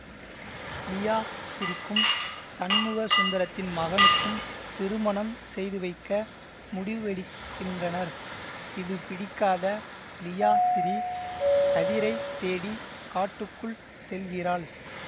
லியாசிறீக்கும் சண்முகசுந்தரத்தின் மகனுக்கும் திருமணம் செய்துவைக்க முடிவெடுக்கின்றனர் இதுபிடிக்காத லியாசிறீ கதிரைத் தேடி காட்டுக்குள் செல்கிறாள்